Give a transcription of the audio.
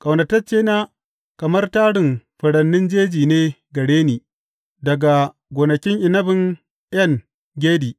Ƙaunataccena kamar tarin furanni jeji ne gare ni daga gonakin inabin En Gedi.